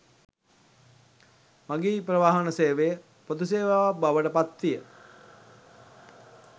මගී ප්‍රවාහන සේවය පොදු සේවාවක් බවට පත්විය.